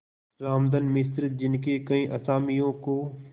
रामधन मिश्र जिनके कई असामियों को